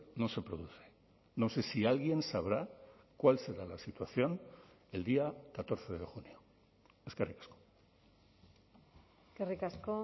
no se produce no sé si alguien sabrá cuál será la situación el día catorce de junio eskerrik asko eskerrik asko